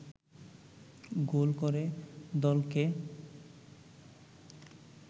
গোল করে দলকে